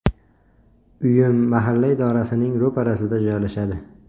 Uyim mahalla idorasining ro‘parasida joylashadi.